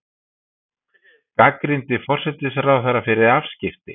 Gagnrýndi forsætisráðherra fyrir afskipti